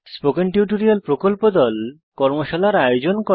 spoken tutorial প্রকল্প দল কর্মশালার আয়োজন করে